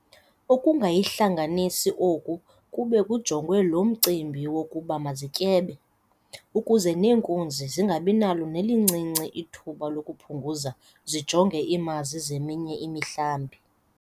Ukungayihlanganisi oku kube kujongwe lo mcimbi wokuba mazityebe, ukuze neenkunzi zingabinalo nelincinci ithuba lokuphunguza zijoje iimazi zeminye imihlambi.